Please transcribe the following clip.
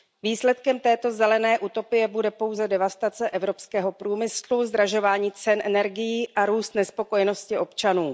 Výsledkem této zelené utopie bude pouze devastace evropského průmyslu, zdražování cen energií a růst nespokojenosti občanů.